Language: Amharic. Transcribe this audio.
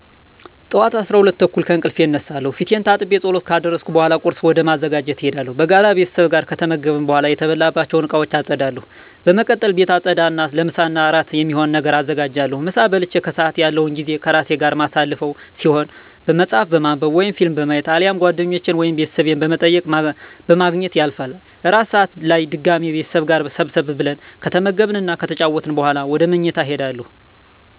ጠዋት 12:30 ከእንቅልፌ እነሳለሁ። ፊቴን ታጥቤ ፀሎት ካደረስኩ በኃላ ቁርስ ወደ ማዘጋጀት እሄዳለሁ። በጋራ ቤተሰብ ጋር ከተመገብን በኃላ የተበላባቸውን እቃወች አፀዳለሁ። በመቀጠል ቤት አፀዳ እና ለምሳ እና እራት የሚሆን ነገር አዘጋጃለሁ። ምሳ በልቼ ከሰአት ያለው ጊዜ ከራሴ ጋር የማሳልፈው ሲሆን መፀሀፍ በማንብ ወይም ፊልም በማየት አሊያም ጓደኞቼን ወይም ቤተሰብ በመጠየቅ በማግኘት ያልፋል። እራት ሰአት ላይ በድጋሚ ቤተሰብ ጋር ሰብሰብ ብለን ከተመገብን እና ከተጨዋወትን በኃላ ወደ ምኝታ እሄዳለሁ።